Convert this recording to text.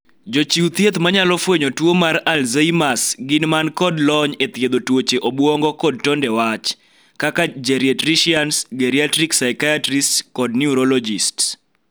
Jochiw thieth ma nyalo fwenyo tuo mar 'Alzheimers' gin man kod lony e thiedho tuoche obuongo kod tonde wach, kaka 'geriatricians', 'geriatric psychiatrists', kod 'neurologists'.